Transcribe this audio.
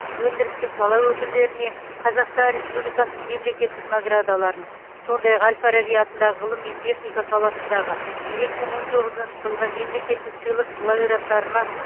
өндірістік сала өкілдеріне қазақстан республикасының мемлекеттік наградаларын сондай ақ әл фараби атындағы ғылым мен техника саласындағы екі мың он тоғызыншы жылғы мемлекеттік сыйлық лауреаттарына